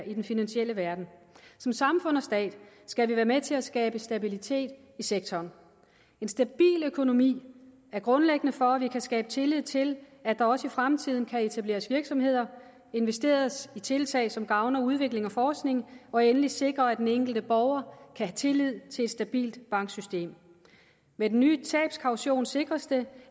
i den finansielle verden som samfund og stat skal vi være med til at skabe stabilitet i sektoren en stabil økonomi er grundlæggende for at vi kan skabe tillid til at der også i fremtiden kan etableres virksomheder og investeres i tiltag som gavner udvikling og forskning og endelig sikre at den enkelte borger kan have tillid til et stabilt banksystem med den nye tabskaution sikres det